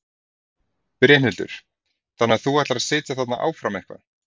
Brynhildur: Þannig að þú ætlar að sitja þarna áfram eitthvað?